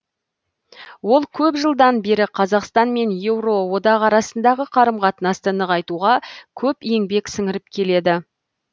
ол көп жылдан бері қазақстан мен еуроодақ арасындағы қарым қатынасты нығайтуға көп еңбек сіңіріп келеді